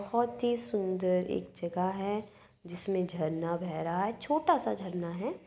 बहुत ही सुंदर एक जगह है जिसमें झरना बह रहा है छोटा सा झरना है।